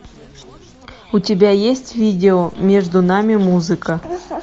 у тебя есть видео между нами музыка